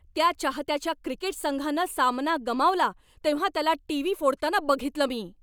त्या चाहत्याच्या क्रिकेट संघानं सामना गमावला तेव्हा त्याला टीव्ही फोडताना बघितलं मी.